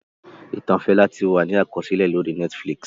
Ìtàn Fẹlá ti wà ní àkọsílẹ̀ lórí Netflix